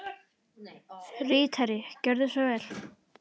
Ritari Gjörðu svo vel.